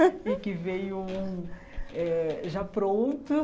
E que veio um eh já pronto.